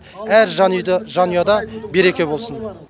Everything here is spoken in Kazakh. әр жанұяда береке болсын